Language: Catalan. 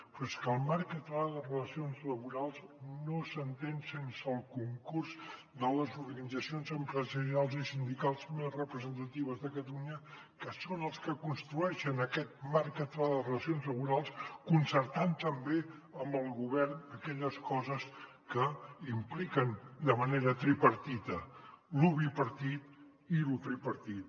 però és que el marc català de relacions laborals no s’entén sense el concurs de les organitzacions empresarials i sindicals més representatives de catalunya que són els que construeixen aquest marc català de relacions laborals concertant també amb el govern aquelles coses que impliquen de manera tripartida lo bipartit i lo tripartit